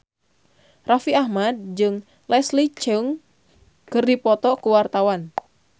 Raffi Ahmad jeung Leslie Cheung keur dipoto ku wartawan